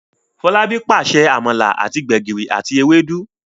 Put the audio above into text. Folabi pàṣẹ amala àti gbegiri àti Ewédú.